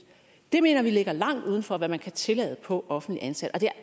mener vi ligger langt uden for hvad man kan tillade på offentligt ansatte og det